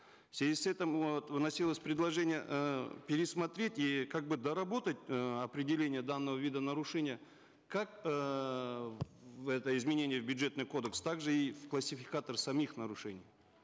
в связи с этим вот вносилось предложение э пересмотреть и как бы доработать э определение данного вида нарушения как эээ в это изменение бюджетный кодекс также и в классификатор самих нарушений